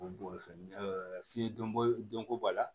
f'i ye dɔnko dɔnko b'a la